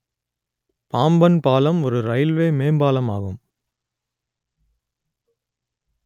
பாம்பன் பாலம் ஒரு இரயில்வே மேம்பாலம் ஆகும்